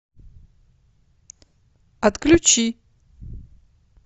отключи